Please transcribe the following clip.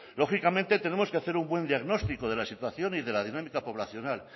lógicamente tenemos que hacer un buen diagnóstico de la situación y de la dinámica poblacional